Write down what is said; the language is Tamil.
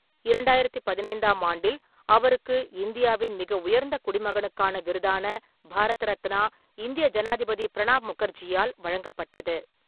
இரண்டாயிரத்தி பதினைந்தாம் ஆண்டில், அவருக்கு இந்தியாவின் மிக உயர்ந்த குடிமகனுக்கான விருதான பாரத ரத்னா, இந்திய ஜனாதிபதி பிரணாப் முகர்ஜியால் வழங்கப்பட்டது.